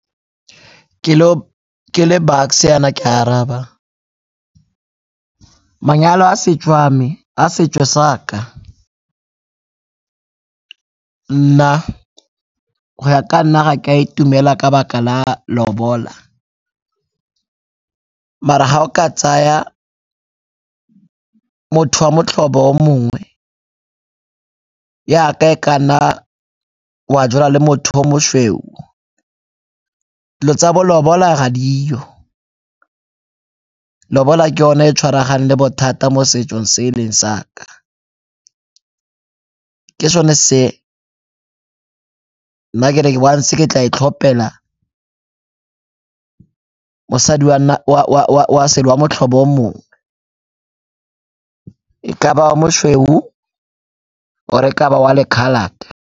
Ke le Bucks-e yana ke a araba, manyalo a setso a me, a setso sa ka, nna go ya ka nna ga ke a itumela ka 'baka la lobola mara ga o ka tsaya motho wa motlhabo o mongwe yaka e ka nna wa jola le motho yo mosweu dilo tsa bo laola ga dio. Lobola ke yone e tshwaraganeng le bothata mo setsong se e leng sa ka, ke sone se nna ke re once ke tla itlhopela mosadi wa motlhobo o mongwe, e ka ba wa mosweu or-e e ka ba wa mo-coloured-te.